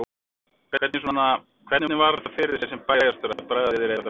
Hvernig svona, hvernig var þetta fyrir þig sem bæjarstjóri að bregða þér í þetta hlutverk?